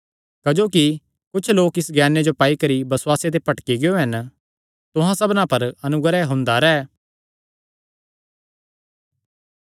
क्जोकि कुच्छ लोक इस ज्ञाने जो पाई करी बसुआसे ते भटकी गियो हन तुहां सबना पर अनुग्रह हुंदा रैंह्